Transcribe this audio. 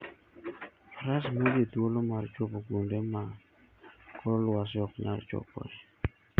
Faras miyo ji thuolo mar chopo kuonde ma kor lwasi ok nyal chopoe.